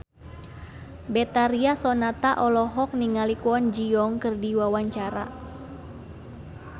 Betharia Sonata olohok ningali Kwon Ji Yong keur diwawancara